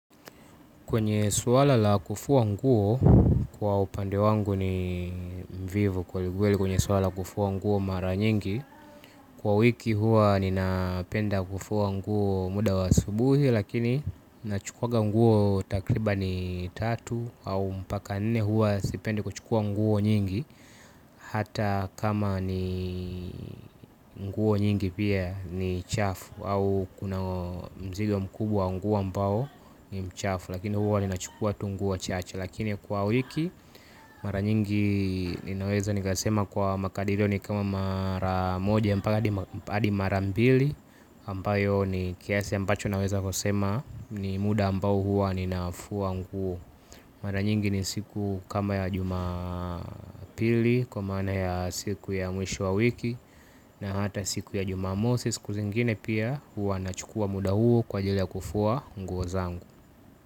Kwenye suwala la kufua nguo kwa upande wangu ni mvivu kwa ligueli kwenye suwala la kufuwa nguo mara nyingi. Kwa wiki hua ninapenda kufuwa nguo muda wa asubuhi lakini nachukwaga nguo takribani tatu au mpaka nene hua sipende kuchukua nguo nyingi. Hata kama ni nguo nyingi pia ni chafu au kuna mzigo mkubwa wa nguo ambao ni mchafu. Lakini huwa nina chukua tu nguo chache. Lakini kwa wiki mara nyingi ninaweza nika sema kwa makadiryo ni kama mara moja mpaka adi mara mbili ambayo ni kiasi ambacho naweza kusema ni muda ambao huwa ninafua nguo. Mara nyingi ni siku kama ya jumapili kwa maana ya siku ya mwisho wa wiki. Na hata siku ya jumamosi siku zingine pia huwa nachukua muda huo kwa jili ya kufua nguo zangu.